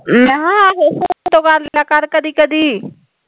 ਮੈਂ ਕਿਹਾ ਫੇਸਬੁੱਕ ਤੋਂ ਕਰਲਿਆ ਕਰ ਕਦੀ ਕਦੀ